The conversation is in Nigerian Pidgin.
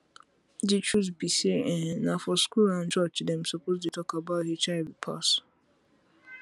the truth be say ehna for school and and church dem suppose dey talk about hiv pass